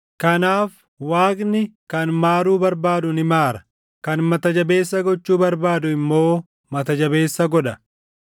Kanaaf Waaqni kan maaruu barbaadu ni maara; kan mata jabeessa gochuu barbaadu immoo mata jabeessa godha.